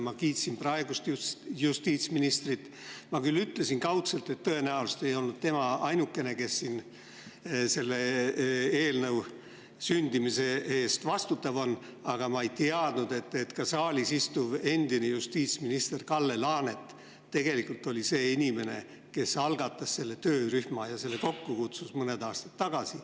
Ma nimelt kiitsin praegust justiitsministrit ja ütlesin küll kaudselt, et tõenäoliselt ei olnud tema ainukene, kes selle eelnõu sündimise eest vastutab, aga ma ei teadnud, et saalis istuv endine justiitsminister Kalle Laanet tegelikult oli see inimene, kes algatas selle töörühma, kutsus selle kokku mõned aastad tagasi.